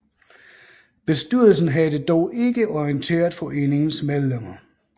Bestyrelsen havde dog ikke orienteret foreningens medlemmer